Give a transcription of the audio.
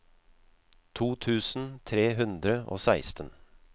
to tusen tre hundre og seksten